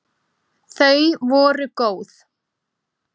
Þau voru góð!